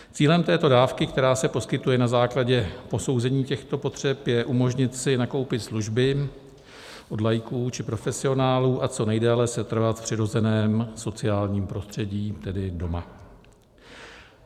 Cílem této dávky, která se poskytuje na základě posouzení těchto potřeb, je umožnit si nakupit služby od laiků či profesionálů a co nejdéle setrvat v přirozeném sociálním prostředí, tedy doma.